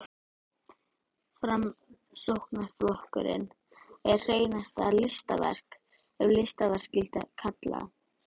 Framsóknarflokkurinn er hreinasta listaverk, ef listaverk skyldi kalla.